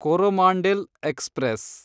Coromandel express